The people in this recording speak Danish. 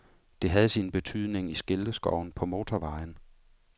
Det havde sin betydning i skilteskoven på motorvejen.